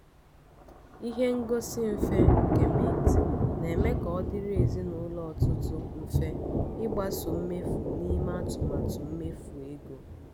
ihe ngosi mfe nke mint na-eme ka ọ dịrị ezinụlọ ọtụtụ mfe ịgbaso mmefu na ime atụmatụ mmefu ego.